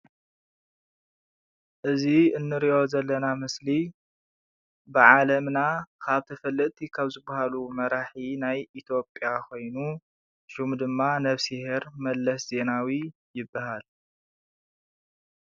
እዚ እንሪኦ ዘለና ምስሊ ብዓለምና ካብ ተፈለጥቲ ካብ ዝበሃሉ መራሒ ናይ ኢትዮጵያ ኮይኑ ሽሙ ድማ ነብስሄር መለስ ዜናዊ ይበሃል።